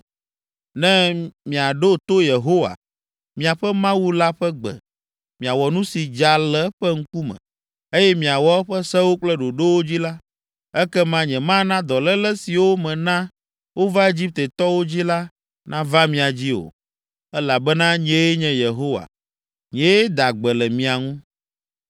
“Ne miaɖo to Yehowa, miaƒe Mawu la ƒe gbe, miawɔ nu si dza le eƒe ŋkume, eye miawɔ eƒe sewo kple ɖoɖowo dzi la, ekema nyemana dɔléle siwo mena wova Egiptetɔwo dzi la nava mia dzi o, elabena nyee nye Yehowa, nyee daa gbe le mia ŋu.”